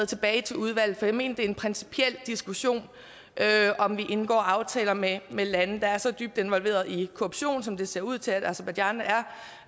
tilbage i udvalget for jeg mener det er en principiel diskussion om vi indgår aftaler med lande der er så dybt involveret i korruption som det ser ud til at aserbajdsjan er